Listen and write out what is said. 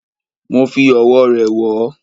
Mo fi Ọ̀wọ̀ rẹ̀ wọ́